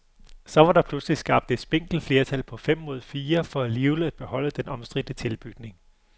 Så var der pludselig skabt et spinkelt flertal på fem mod fire for alligevel at beholde den omstridte tilbygning.